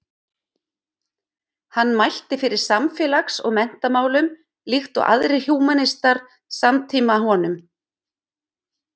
Hann mælti fyrir samfélags- og menntamálum líkt og aðrir húmanistar samtíma honum.